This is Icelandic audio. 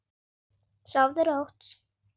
Sofðu rótt.